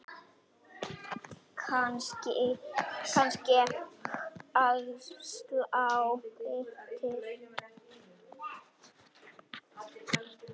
Kannske ég slái til.